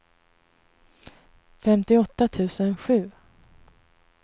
femtioåtta tusen sju